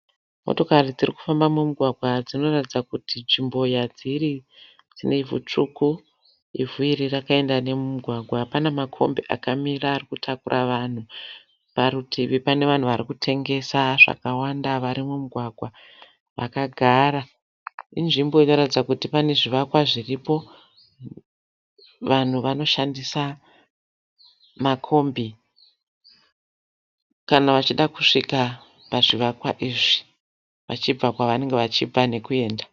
Motokari dziri kufamba mumugwagwa. Dzinoratidza kuti nzvimbo yadziri dzine ivhu tsvuku. Ivhu iri rakaenda nemumugwagwa. Pana makombi akamira ari kutakura vanhu. Parutivi pane vanhu vari kutengesa zvakawanda vari mumugwagwa vakagara. Inzvimbo inoratidza kuti pane zvivakwa zviripo. Vanhu vanoshandisa makombi kana vachida kusvika pazvivakwa izvi vachibva kwavanenge vachibva nekuenda.